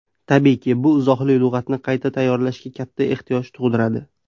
Tabiiyki, bu izohli lug‘atni qayta tayyorlashga katta ehtiyoj tug‘diradi.